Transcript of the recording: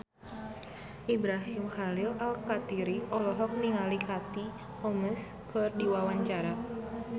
Ibrahim Khalil Alkatiri olohok ningali Katie Holmes keur diwawancara